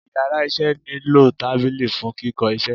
íyarà iṣẹ ni lo tábilí fún Kìkó isé